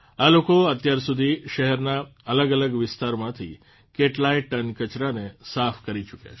આ લોકો અત્યાર સુધી શહેરના અલગઅલગ વિસ્તારમાંથી કેટલાય ટન કચરાને સાફ કરી ચૂક્યા છે